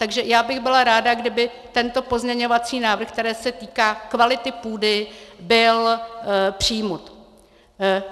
Takže já bych byla ráda, kdyby tento pozměňovací návrh, který se týká kvality půdy, byl přijat.